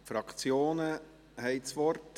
Die Fraktionen haben das Wort.